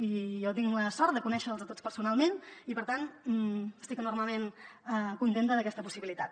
i jo tinc la sort de conèixer los a tots personalment i per tant estic enormement contenta d’aquesta possibilitat